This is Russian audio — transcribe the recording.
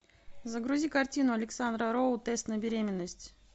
загрузи картину александра роу тест на беременность